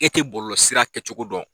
E tɛ bɔlɔlɔ sira kɛ cogo dɔn.